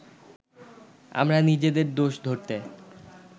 আমরা নিজেদের দোষ ধরতে